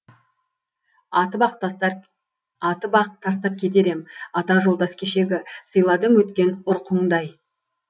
атып ақ тастар атып ақ тастап кетер ем ата жолдас кешегі сыйладым өткен ұрқыңды ай